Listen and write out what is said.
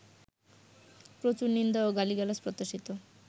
প্রচুর নিন্দা ও গালিগালাজ প্রত্যাশিত